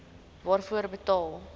waarvoor betaal gems